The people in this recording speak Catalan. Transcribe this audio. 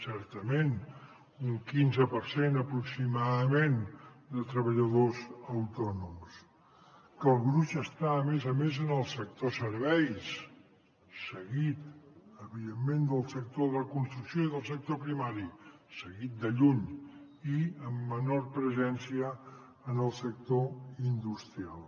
certament un quinze per cent aproximadament de treballadors autònoms que el gruix està a més a més en el sector serveis seguit evidentment del sector de la construcció i del sector primari seguit de lluny i amb menor presència del sector industrial